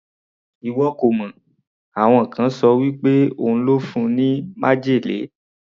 Ìwọ kò mọ̀, àwọn kan ṣọ wí pé òun ló fún un ní májèlé.